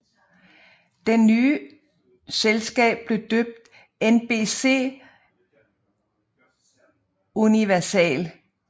Den nye selskab blev døbt NBCUniversal